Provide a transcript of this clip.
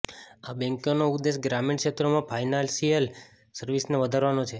આ બેંકનો ઉદ્દેશ ગ્રામીણ ક્ષેત્રોમાં ફાઈનાન્સિયલ સર્વિસને વધારવાનો છે